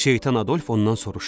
Şeytan Adolf ondan soruşdu.